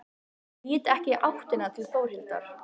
Lít ekki í áttina til Þórhildar.